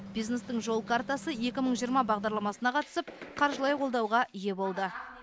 бизнестің жол картасы екі мың жиырма бағдарламасына қатысып қаржылай қолдауға ие болды